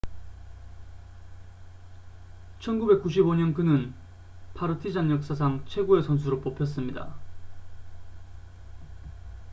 1995년 그는 파르티잔 역사상 최고의 선수로 뽑혔습니다